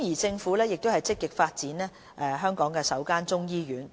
政府正積極發展香港首間中醫醫院。